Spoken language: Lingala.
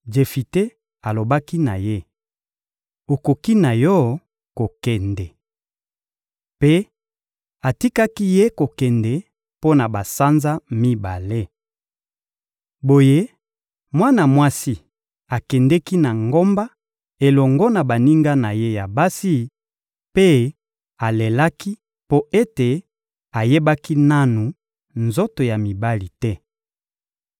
Jefite alobaki na ye: — Okoki na yo kokende. Mpe atikaki ye kokende mpo na basanza mibale. Boye mwana mwasi akendeki na ngomba elongo na baninga na ye ya basi, mpe alelaki mpo ete ayebaki nanu nzoto ya mibali te.